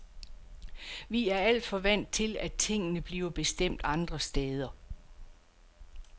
Vi er alt for vant til, at tingene bliver bestemt andre steder.